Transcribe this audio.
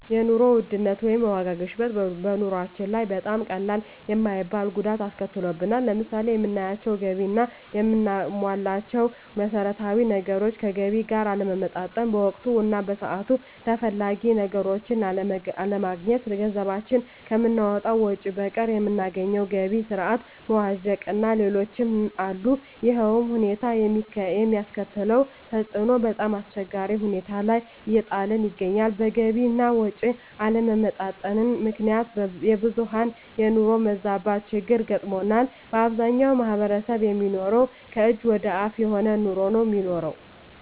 የኑሮ ውድነት ወይም የዋጋ ግሽበት በኑሮአችን ላይ በጣም ቀላል የማይባል ጉዳት አስከትሎብናል። ለምሳሌ የምናገኘው ገቢ እና የምናሟላቸው መሠረታዊ ነገሮች ከገቢ ጋር አለመመጣጠን፣ በወቅቱ እና በሰዓቱ ተፈላጊ ነገሮችን አለማግኘት፣ ገንዘባችን ከምናወጣው ወጭ በቀር የምናገኘው የገቢ ስረዓት መዋዠቅእና ሌሎችም አሉ። ይሕም ሁኔታ የሚያስከትለው ተፅዕኖ በጣምአስቸጋሪ ሁኔታ ላይ እየጣለን ይገኛል። በገቢ አና ወጭ አለመመጣጠን ምክንያት የብዙሀን የኑሮ መዛባት ችግር ገጥሞናል። በአብዛኛው ማሕበረሰብ የሚኖረው ከእጅ ወደ አፍ የሆነ ኑሮ ነው የሚኖረው።